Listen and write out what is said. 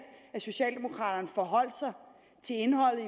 at socialdemokraterne forholdt sig til indholdet